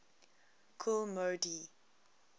kool moe dee